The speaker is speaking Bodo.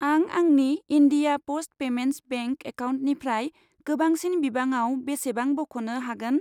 आं आंनि इन्डिया प'स्ट पेमेन्टस बेंक एकाउन्टनिफ्राय गोबांसिन बिबाङाव बेसेबां बख'नो हागोन?